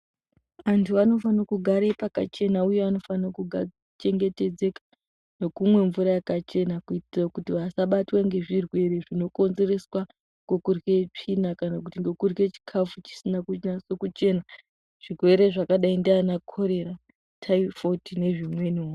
Antu anofano kugare pakachena uye anofano kuchengetedzeka nekumwe mvura yakachena kuitira kuti vasabatwa ngezvirwere zvinokonzereswa ngokurye tsvina ngokurye chikafu chisina kuchena, zvirwere zvakadai ndiana korera, taifoidhi nezvimweniwo.